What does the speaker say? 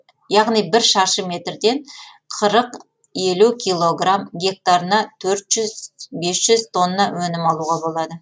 яғни ір шаршы метрден қырық елу килограмм гектарына төрт жүз бес жүз теңге өнім алуға болады